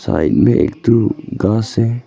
इनमें एक ठो घास है।